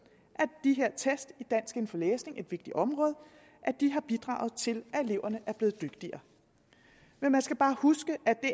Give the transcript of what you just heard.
at test i dansk inden for læsning et vigtigt område har bidraget til at eleverne er blevet dygtigere men man skal bare huske at det